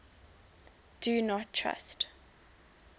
do not trust